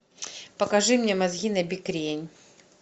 покажи мне мозги набекрень